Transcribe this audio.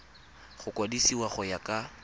go kwadisiwa go ya ka